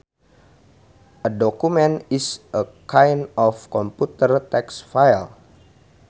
A document is a kind of computer text file